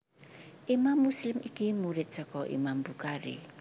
Imam Muslim iki murid saka Imam Bukhari